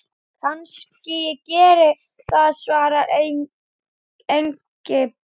Kannski ég geri það svaraði Engilbert.